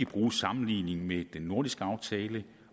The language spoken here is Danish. bruge sammenligningen med den nordiske aftale